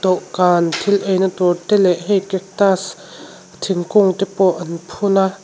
dawhkan thil eina tur te leh hei cactus thingkung te pawh an phuna.